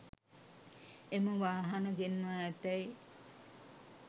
එම වාහන ගෙන්වා ඇතැයි